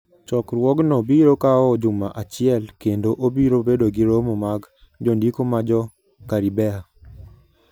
Chokruogno biro kawo juma achiel kendo obiro bedo gi romo mag jondiko ma Jo-Karibea.